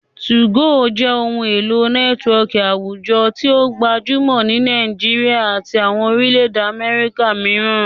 2go jẹ ohun elo nẹtiwọọki awujọ ti o gbajumọ ni Nigeria ati awọn orilẹ-ede Afirika miiran.